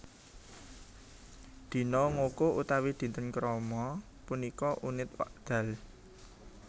Dina ngoko utawi dinten krama punika unit wekdal